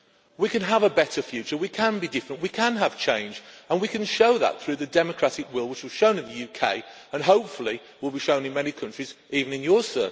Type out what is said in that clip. We can have a better future, we can be different, we can have change, and we can show that through the democratic will which was shown in the UK and which, hopefully, will be shown in many countries even in Mr Rutte's.